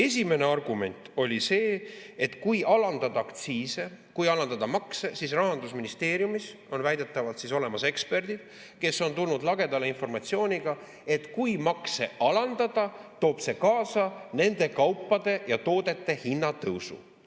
Esimene argument oli see, et kui alandada aktsiise, kui alandada makse – Rahandusministeeriumis on väidetavalt olemas eksperdid, kes on tulnud lagedale informatsiooniga –, toob see kaasa nende kaupade ja toodete hinna tõusu.